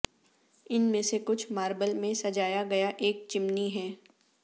ان میں سے کچھ ماربل میں سجایا گیا ایک چمنی ہے